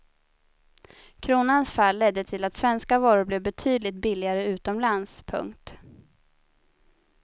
Kronans fall ledde till att svenska varor blev betydligt billigare utomlands. punkt